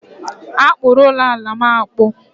A kpụrụ ala ụlọ'm akpụ